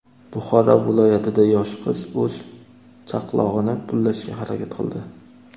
Buxoro viloyatida yosh qiz o‘z chaqlog‘ini pullashga harakat qildi.